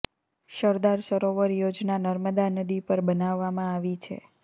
સરદાર સરોવર યોજના નર્મદા નદી પર બનાવામાં આવી છે